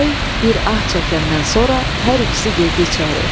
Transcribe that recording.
Bəy bir ah çəkəndən sonra hər ikisi girdi içəri.